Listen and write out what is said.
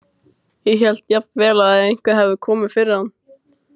Ég hélt jafnvel að eitthvað hefði komið fyrir hann.